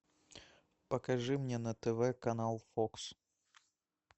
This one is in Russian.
покажи мне на тв канал фокс